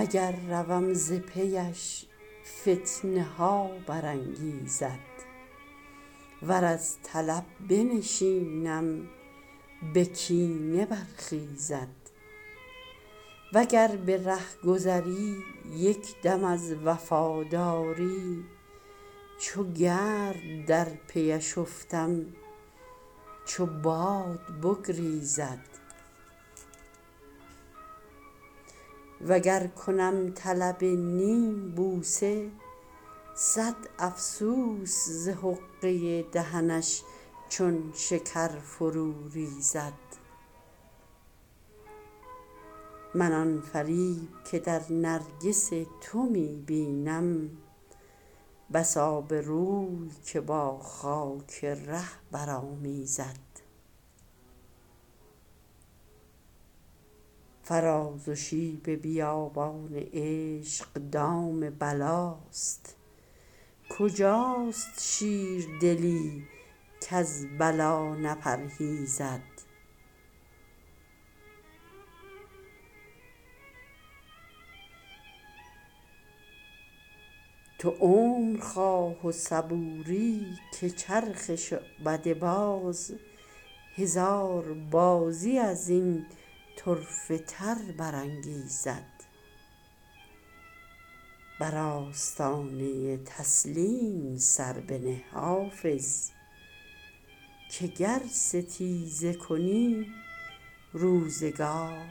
اگر روم ز پی اش فتنه ها برانگیزد ور از طلب بنشینم به کینه برخیزد و گر به رهگذری یک دم از وفاداری چو گرد در پی اش افتم چو باد بگریزد و گر کنم طلب نیم بوسه صد افسوس ز حقه دهنش چون شکر فرو ریزد من آن فریب که در نرگس تو می بینم بس آبروی که با خاک ره برآمیزد فراز و شیب بیابان عشق دام بلاست کجاست شیردلی کز بلا نپرهیزد تو عمر خواه و صبوری که چرخ شعبده باز هزار بازی از این طرفه تر برانگیزد بر آستانه تسلیم سر بنه حافظ که گر ستیزه کنی روزگار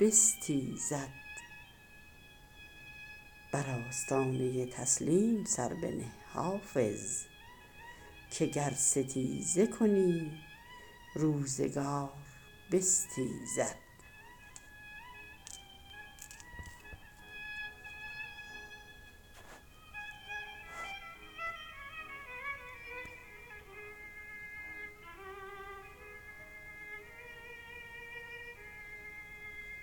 بستیزد